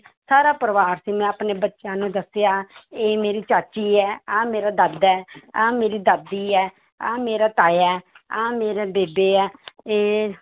ਸਾਰਾ ਪਰਿਵਾਰ ਸੀ ਮੈਂ ਆਪਣੇ ਬੱਚਿਆਂ ਨੂੰ ਦੱਸਿਆ ਇਹ ਮੇਰੀ ਚਾਚੀ ਹੈ ਆਹ ਮੇਰਾ ਦਾਦਾ ਹੈ ਆਹ ਮੇਰੀ ਦਾਦੀ ਹੈ, ਆਹ ਮੇਰਾ ਤਾਇਆ ਹੈ ਆਹ ਮੇਰੇ ਬੇਬੇ ਹੈ ਇਹ